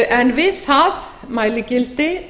en við það mæligildi